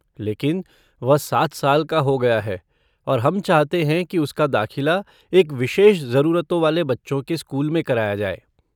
लेकिन, वह सात साल का हो गया है और हम चाहते हैं कि उसका दाखिला एक विशेष ज़रूरतों वाले बच्चों के स्कूल में कराया जाए।